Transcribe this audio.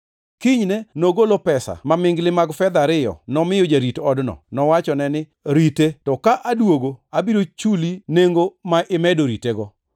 Kinyne nogolo pesa mamingli mag fedha ariyo nomiyo jarit odno. Nowachone ni, ‘Rite to ka aduogo abiro chuli nengo ma imedo ritego!’